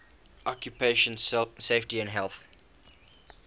occupational safety and health